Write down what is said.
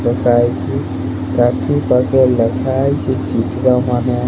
ଲେଖା ହେଇଛି କାଠି ପାଖେ ଲେଖା ହେଇଛି ଚିତ୍ର ମାନେ --